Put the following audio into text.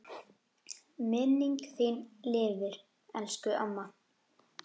Minning þín lifir, elsku amma.